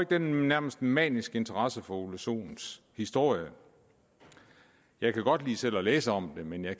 den nærmest maniske interesse for herre ole sohns historie jeg kan godt lide selv at læse om det men jeg